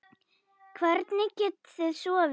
Hvernig getið þið sofið?